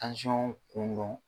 dɔn dɔrɔn.